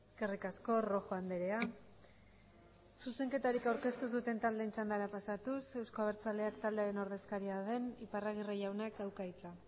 eskerrik asko rojo andrea zuzenketarik aurkeztu ez duten taldeen txandara pasatuz euzko abertzaleak taldearen ordezkaria den iparragirre jaunak dauka hitza